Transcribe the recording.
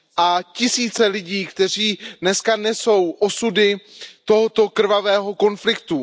A tisíce lidí, kteří dneska nesou osudy tohoto krvavého konfliktu.